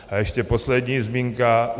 A ještě poslední zmínka.